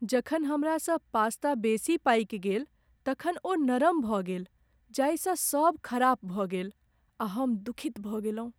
जखन हमरासँ पास्ता बेसी पकि गेल तखन ओ नरम भऽ गेल जाहिसँ सभ खराप भऽ गेल आ हम दुखित भऽ गेलहुँ।